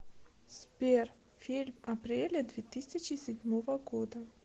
сбер фильм апреля две тысячи седьмого года